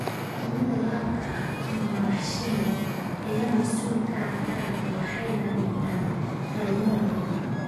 Shinnida labka ah, ama madax shinni, ayaa mas'uul ka ah taranka waxayna dhintaan dhalmada kadib.